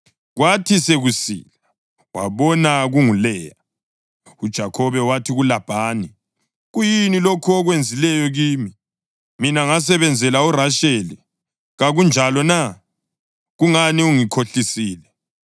Kwathi sokusile, wabona kunguLeya! UJakhobe wathi kuLabhani, “Kuyini lokhu okwenzileyo kimi? Mina ngasebenzela uRasheli, kakunjalo na? Kungani ungikhohlisile?”